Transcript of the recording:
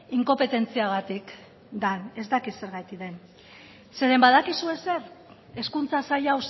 inkopetentziagatik den ez dakit zergatik den zeren badakizue zer hezkuntza sail